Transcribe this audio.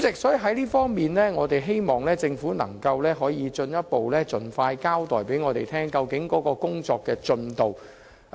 就此方面，我們希望政府可進一步盡快向我們交代有關的工作進度。